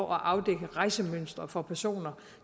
afdække rejsemønstre for personer